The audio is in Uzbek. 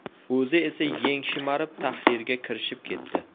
O‘zi esa yeng shimarib tahrirga kirishib ketdi.